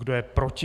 Kdo je proti?